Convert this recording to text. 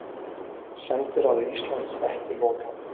Sendiráði Íslands ekki lokað